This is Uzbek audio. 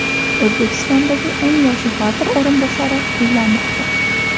O‘zbekistondagi eng yosh vazir o‘rinbosari uylanmoqda.